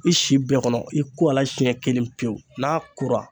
I si bɛɛ kɔnɔ i ko ala siɲɛ kelen pewu n'a kora